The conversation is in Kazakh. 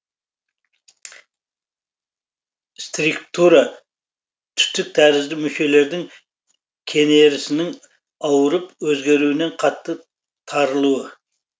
стриктура түтік тәрізді мүшелердің кенересінің ауырып өзгеруінен қатты тарылуы